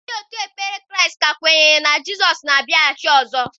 Ndị òtù Kraịst ka kwenyere na Jizọs na-abịaghachi ọzọ.